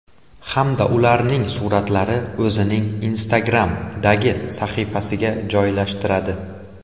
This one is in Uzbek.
Hamda ularning suratlarini o‘zining Instagram’dagi sahifasiga joylashtiradi.